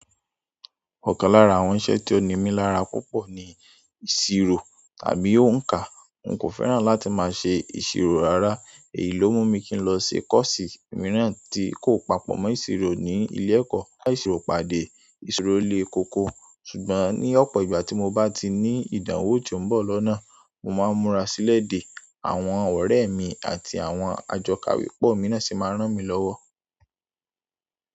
Ọ̀kan lára àwọn iṣẹ́ tí ó ní mi lára púpọ̀ ni ìṣirò tàbí òǹkà. N kò fẹ́ràn láti máa ṣe ìṣirò rárá, èyí ló mú mi kí n lọ ṣe kọ́ọ̀sì mìíràn tí kò papọ̀ mọ́ ìṣirò ní ilé ẹ̀kọ́. Ba ìṣirò pàdé, ìṣirò lé kókó. Ṣùgbọ́n ní ọ̀pọ̀ ìgbà tí mo bá ti ní ìdánwò tí ó ń bọ̀ lọ́nà, mo máa ń múra sílẹ̀ dé, àwọn ọ̀rẹ́ mi àti àwọn àjọkòwé pọ̀ mì náà sì máa rán mi lọ́wọ́.